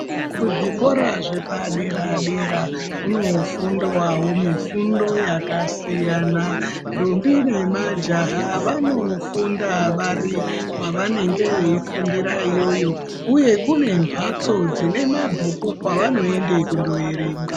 Kuzvikora zvepadera dera kunofundwawo mifundo yakasiyana ndombi nemajaha vanofunda vari kwavanenge veifundira iyoyo uye kune mbatso dzinemabhuku kwavanoende kundoyerenga.